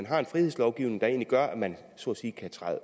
har en frihedslovgivning der egentlig gør at man så at sige kan træde